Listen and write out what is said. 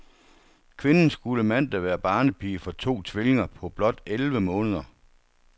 Kvinden skulle mandag være barnepige for to tvillinger på blot elleve måneder.